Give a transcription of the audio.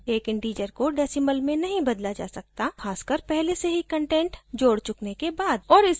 एक integer को decimal में नहीं बदला जा सकता ख़ासकर पहले से ही कंटेंट जोड़ चुकने के बाद